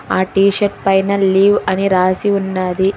ఆ T shirt పైన leave అని రాసి ఉన్నది.